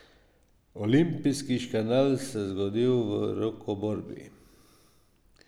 Olimpijski škandal se je zgodil v rokoborbi.